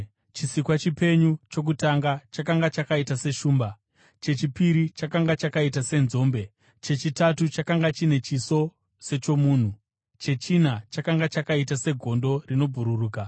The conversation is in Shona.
Chisikwa chipenyu chokutanga chakanga chakaita seshumba, chechipiri chakanga chakaita senzombe, chechitatu chakanga chine chiso sechomunhu, chechina chakanga chakaita segondo rinobhururuka.